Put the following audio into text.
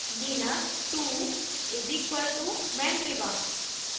linux 2 = mandriva